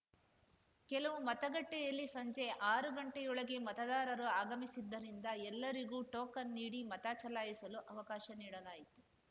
ಕೆಲವು ಮತಗಟ್ಟೆಯಲ್ಲಿ ಸಂಜೆ ಆರು ಗಂಟೆಯೊಳಗೆ ಮತದಾರರು ಆಗಮಿಸಿದ್ದರಿಂದ ಎಲ್ಲರಿಗೂ ಟೋಕನ್‌ ನೀಡಿ ಮತ ಚಲಾಯಿಸಲು ಅವಕಾಶ ನೀಡಲಾಯಿತು